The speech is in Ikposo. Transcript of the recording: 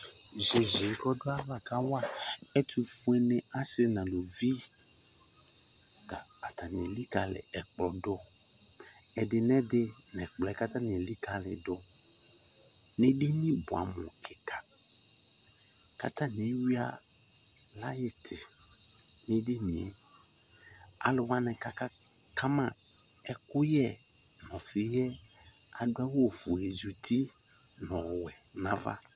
Tʋ iyeye kɔdʋ ayava kawa ɛtʋfueni, asi nʋ alʋvi ta atani elikali ɛkplɔ dʋ Ɛdi nɛ di nʋ ɛkplɔ yɛ kʋ ilikali yi dʋ nʋ edini buamʋ kika kʋ atani eyuia liyiti nʋ edini e Alʋ wani kʋ akaka ma ɛkʋyɛ nʋ ɔfi yɛ adʋ awʋ ofue zi uti nʋ ɔwɛ nava